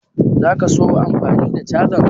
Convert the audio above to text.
Za ka so ka yi amfani da cajan?